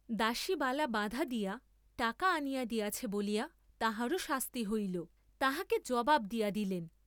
দাসী বালা বাঁধা দিয়া টাকা আনিয়া দিয়াছে বলিয়া তাহারও শাস্তি হইল, তাহাকে জবাব দিয়া দিলেন।